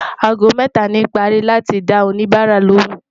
àgó méta ní pari láti dá òní bára lòún